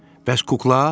Bəs kukla?